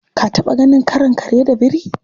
Ka taɓa ganin karon kare da biri?